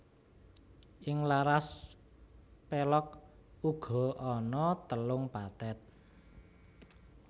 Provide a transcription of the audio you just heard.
Ing laras pélog uga ana telung pathet